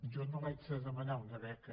jo no l’haig de demanar una beca